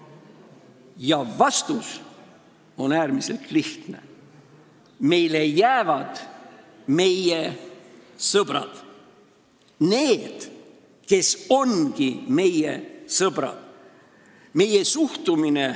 Ja vastus on äärmiselt lihtne: meile jäävad meie sõbrad – need, kes ongi meie sõbrad.